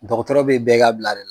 Dɔgɔtɔrɔ bɛ bɛɛ ka bila de la